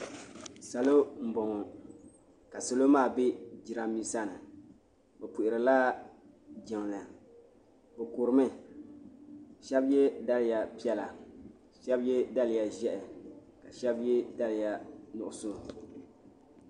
Sa lo n bɔŋɔ ka salo maa bɛ jiranbesa ni bi puhiri la jiŋli bi kuri mi shɛba yiɛ daliya piɛlla ka shɛba yiɛ daliya zɛhi ka shɛba yiɛ daliya nuɣiso.